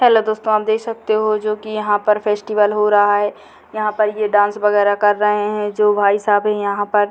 पहले दोस्तों आप देख सकते है जो की यहाँ पर फेस्टिवल हो रहा है यहाँ पर ये डांस वगैरह कर रहे है जो भाई साहब है यहाँ पर --